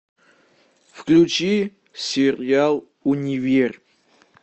включи сериал универ